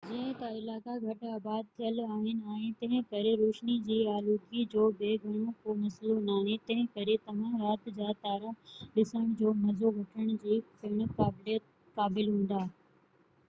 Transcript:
جئين ته علائقا گهٽ آباد ٿيل آهن ۽ تنهنڪري روشني جي آلودگي جو به گهڻو ڪو مسئلو ناهي تنهنڪري توهان رات جا تارا ڏسڻ جو مزو وٺڻ جي پڻ قابل هوندا